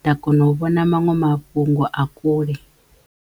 nda kona u vhona maṅwe mafhungo a kule.